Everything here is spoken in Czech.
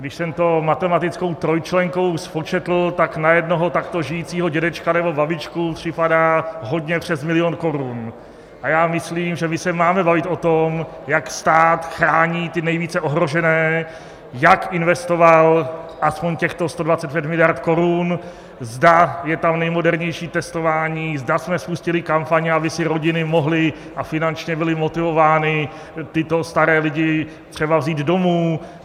Když jsem to matematickou trojčlenkou spočetl, tak na jednoho takto žijícího dědečka nebo babičku připadá hodně přes milion korun, a já myslím, že my se máme bavit o tom, jak stát chrání ty nejvíce ohrožené, jak investoval aspoň těchto 125 miliard korun, zda je tam nejmodernější testování, zda jsme spustili kampaně, aby si rodiny mohly - a finančně byly motivovány - tyto staré lidi třeba vzít domů.